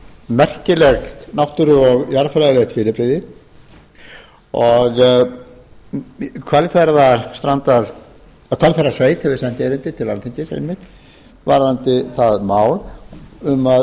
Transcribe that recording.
merkilegt jarðfræði og náttúrulegt fyrirbrigði og hvalfjarðarsveit hefur sent erindi til alþingis einmitt varðandi það mál um